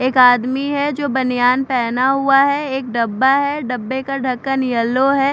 एक आदमी है जो बनियान पहना हुआ है एक डब्बा है डब्बे का ढक्कन येलो है।